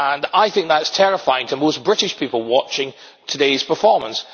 I think that is terrifying to most British people watching today's performance.